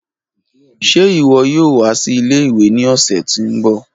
Ṣe iwọ yoo wa si ìle-ìwe ni ọsẹ ti n bọ?